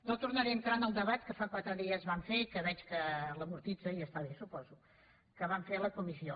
no tornaré a entrar en el debat que fa quatre dies vam fer i que veig que l’amortitza i està bé suposo que vam fer a la comissió